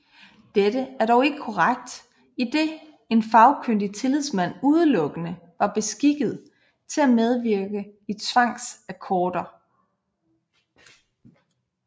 Dette er dog ikke korrekt idet en Fagkyndig tillidsmand udelukkende var beskikket til at medvirke i tvangsakkorder